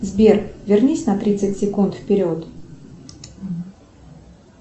сбер вернись на тридцать секунд вперед